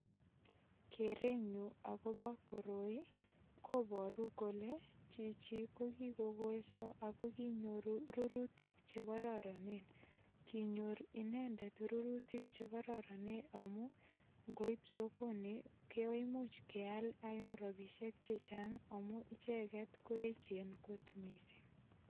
Kerenyunagobo koroikobaru kole chichi ko kikogolso ago kikonyoru rurutik che kororonen. Kinyor inendet rurutik chekororonen amu ngoip sokoni koimuch keal eng ropisiek che chang amu icheget ko eechen kot mising.